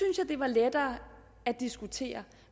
jeg det var lettere at diskutere